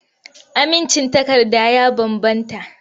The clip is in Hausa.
Amincin takarda ya bambanta.